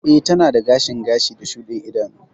Ee, tana da gashin gashi da shudin idanu.